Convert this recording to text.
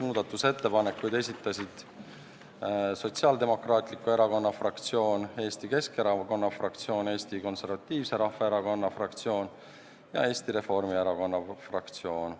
Muudatusettepanekuid esitasid Sotsiaaldemokraatliku Erakonna fraktsioon, Eesti Keskerakonna fraktsioon, Eesti Konservatiivse Rahvaerakonna fraktsioon ja Eesti Reformierakonna fraktsioon.